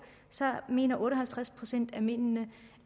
så mener otte og halvtreds procent af mændene